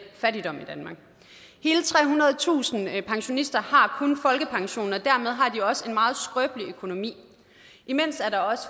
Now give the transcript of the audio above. fattigdom i danmark hele trehundredetusind pensionister har kun folkepensionen og dermed har de også en meget skrøbelig økonomi imens er der også